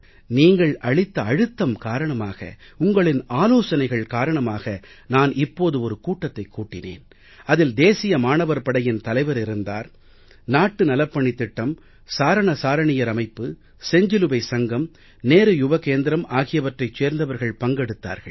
நீங்கள் அளித்த அழுத்தம் காரணமாக உங்களின் ஆலோசனைகள் காரணமாக நான் இப்போது ஒரு கூட்டத்தை கூட்டினேன் அதில் தேசிய மாணவர் படையின் தலைவர் இருந்தார் நாட்டு நலப்பணித் திட்டம் சாரண சாரணியர் அமைப்பு செஞ்சிலுவை சங்கம் நேரு யுவ கேந்திரம் ஆகியவற்றைச் சேர்ந்தவர்கள் பங்கெடுத்தார்கள்